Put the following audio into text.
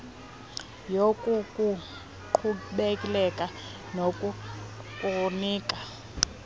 yoku kukuqhubekeka nokukunika